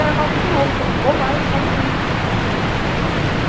Era quase um quilômetro, ou mais, só de lixo.